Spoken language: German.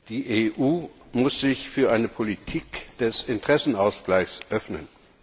Die EU muss sich für eine Politik des Interessenausgleichs öffnen.